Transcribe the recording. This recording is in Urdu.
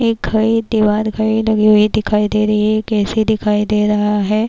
ایک گھر ایک دیوال گڈی دکھایی دے رہا ہے، ایک اے سی دکھایی دے رہا ہے-